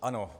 Ano.